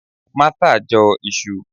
Martha Jo Isu